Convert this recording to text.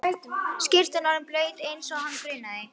Skyrtan orðin blaut eins og hana grunaði.